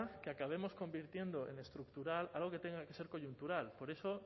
que acabemos convirtiendo en estructural algo que tenga que ser coyuntural por eso